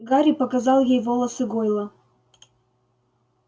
гарри показал ей волосы гойла